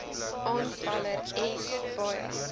aanvaller s baie